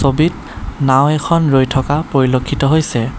ছবিত নাওঁ এখন ৰৈ থকা পৰিলক্ষিত হৈছে।